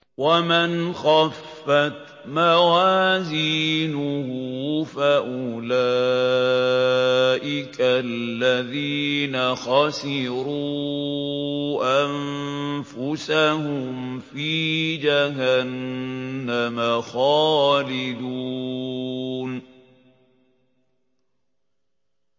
وَمَنْ خَفَّتْ مَوَازِينُهُ فَأُولَٰئِكَ الَّذِينَ خَسِرُوا أَنفُسَهُمْ فِي جَهَنَّمَ خَالِدُونَ